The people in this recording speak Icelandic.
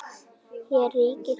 Hér ríkir doði.